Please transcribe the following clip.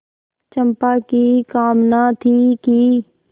चंपा की कामना थी कि